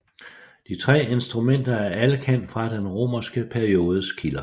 De 3 instrumenter er alle kendt fra den romanske periodes kilder